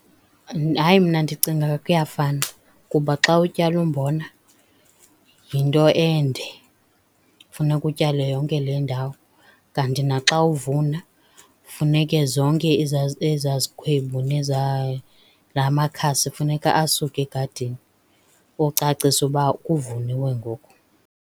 Hayi, mna ndicinga kuyafana, kuba xa utyala umbona yinto ende funeka utyale yonke le ndawo. Kanti naxa uvuna funeke zonke ezaa zikhwebu nezaa la makhasi funeka asuke egadini ucacisa uba kuvuniwe ngoku.